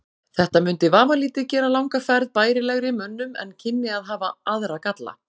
Þetta mundi vafalítið gera langa ferð bærilegri mönnum en kynni að hafa aðra galla.